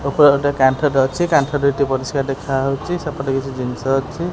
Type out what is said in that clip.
ଓପରେ ଗୋଟେ କାନ୍ଥଟେ ଅଛି କାନ୍ଥ ଦୁଇଟି ପରିଷ୍କାର ଦେଖାଯାଉଚି ସେପଟେ କିଛି ଜିନିଷ ଅଛି।